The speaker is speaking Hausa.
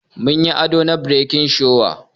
Mun yi ado na bridal shower.